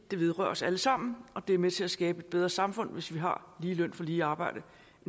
det vedrører os alle sammen og det er med til at skabe et bedre samfund hvis vi har lige løn for lige arbejde